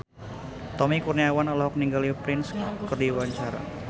Tommy Kurniawan olohok ningali Prince keur diwawancara